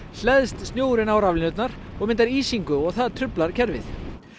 hleðst snjórinn á raflínurnar myndar ísingu og það truflar kerfið